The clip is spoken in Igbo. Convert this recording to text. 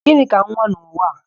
Gịnị ka nwa n'ụwa a?